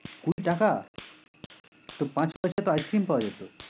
কুড়ি টাকা? তো পাঁচ পয়সায় তো ice-cream পাওয়া যেত।